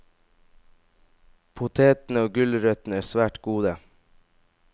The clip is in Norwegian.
Potetene og gulrøttene er svært gode.